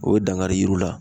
O ye dankari yiriw la